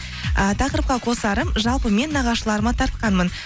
э тақырыпқа қосарым жалпы мен нағашыларыма тартқанмын